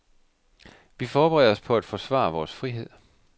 Vi forbereder os på at forsvare vores frihed.